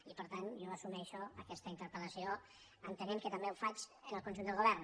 i per tant jo assumeixo aquesta interpel·lació entenent que també ho faig en el conjunt del govern